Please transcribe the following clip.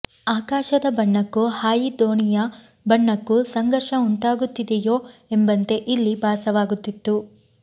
ಆಕಾಶದ ಬಣ್ಣಕ್ಕೂ ಹಾಯಿ ದೋಣಿಯ ಬಣ್ಣಕ್ಕೂ ಸಂಘರ್ಷ ಉಂಟಾಗುತ್ತಿದೆಯೋ ಎಂಬಂತೆ ಇಲ್ಲಿ ಭಾಸವಾಗುತ್ತಿದೆ